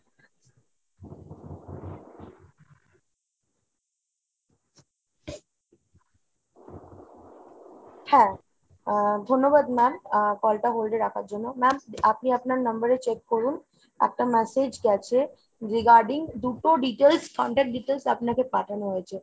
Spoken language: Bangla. হ্যাঁ আহ ধন্যবাদ ma'am আহ call টা hold এ রাখার জন্য। ma'am আপনি আপনার number এ check করুন একটা massage গেছে regarding দুটো details, contact details আপনাকে পাঠানো হয়েছে।